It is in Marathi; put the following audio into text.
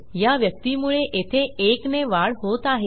या व्यक्तीमुळे येथे 1 ने वाढ होत आहे